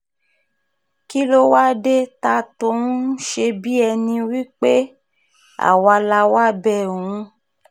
kí ló wáá dé ta tó ń ṣe bíi ẹni pé àwa la wáá bẹ òun